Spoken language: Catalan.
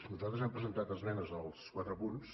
nosaltres hem presentat esmenes a tots quatre punts